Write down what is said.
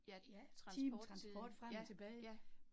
Ja, transporttiden, ja, ja